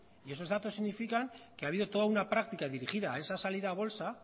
y eso datos significan que ha habido toda una práctica dirigida a esa salida a bolsa